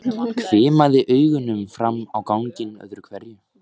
Hvimaði augunum fram á ganginn öðru hverju.